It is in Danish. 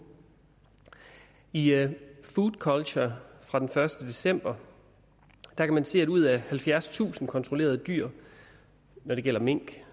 i food culture fra den første december kan man se at ud af halvfjerdstusind kontrollerede dyr når det gælder mink